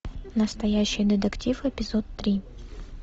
настоящий детектив эпизод три